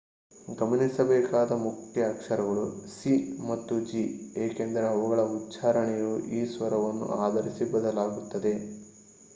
ಗಮನಿಸಬೇಕಾದ ಮುಖ್ಯ ಅಕ್ಷರಗಳು c ಮತ್ತು g ಏಕೆಂದರೆ ಅವುಗಳ ಉಚ್ಚಾರಣೆಯು ಈ ಸ್ವರವನ್ನು ಆಧರಿಸಿ ಬದಲಾಗುತ್ತದೆ